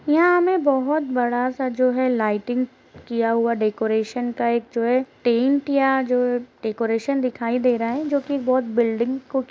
यहाँ हमें बहुत बड़ा सा जो है लाइटिंग किया हुआ डेकोरेशन का एक जो है टेंट या जो डेकोरेशन दिखाई दे रहा है जोकि बहुत बिल्डिंग को कि --